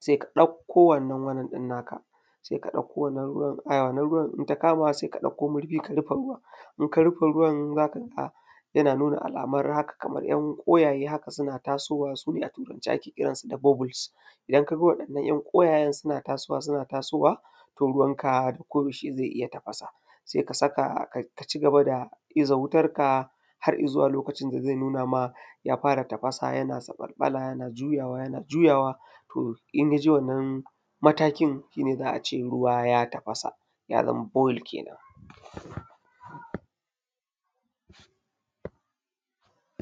sai ka ɗakko wannan wannan ɗin naka, sai ka ɗakko wannan ruwan ai wannan ruwan idan takama sai ka ɗakko murfi ka rufe ruwan in ka rufe ruwan za ka ga yana nuna alamar haka kamar ‘yan kwayaye haka suna tasowa wannan ‘yan kwayayen su ne a turance ake kiransu da bubbles. Idan ka ga wannan ‘yan kwayayen suna tasowa suna tasowa to ruwanka ko yaushe zai iya tafasa sai ka saka ka cigaba da iza wutarka har izuwa lokacin da zai nuna ma, ya fara tafasa yana zaɓalɓala yana juyawa, yana juyawa, to in ya je wannan matakin shi ne za’a ce ruwa ya tafasa ya zama boiled kenan.